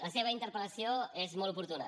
la seva interpel·lació és molt oportuna